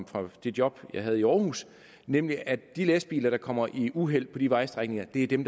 fra det job jeg havde i aarhus nemlig at de lastbiler der kommer i uheld på de vejstrækninger er dem